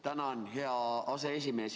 Tänan, hea aseesimees!